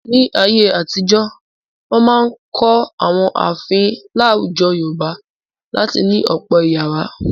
Ní ayé-àtijọ, wọn máa ń kọ́ àwọn ààfin láwùjọ Yorùbá láti ní ọ̀pọ̀ ìyàrá.